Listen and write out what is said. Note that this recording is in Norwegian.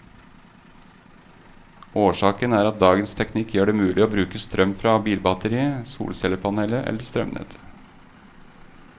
Årsaken er at dagens teknikk gjør det mulig å bruke strøm fra bilbatteriet, solcellepanelet eller strømnettet.